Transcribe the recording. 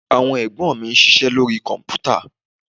Àwọn Ẹ̀gbọ́n mi ń ṣiṣẹ́ lórí Kọ̀m̀pútà